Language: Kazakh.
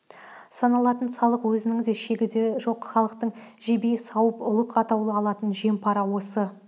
салынатын салық өзінің де шегі де жоқ халықты жебей сауып ұлық атаулы алатын жем-пара осы